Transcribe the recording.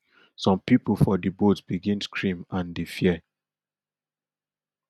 some pipo for di boat begin scream and dey fear